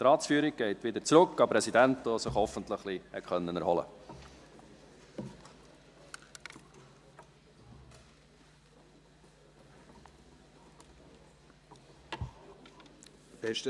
Die Ratsführung geht wieder zurück an den Präsidenten, der sich hoffentlich ein wenig erholen konnte.